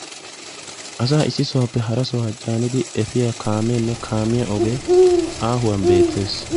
Asaa issi sohuwappe hara sohuwa caaniddi efiya kaamenne kaamiya ogee aahuwan beettees.